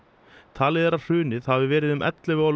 talið er að hrunið hafi verið um ellefu á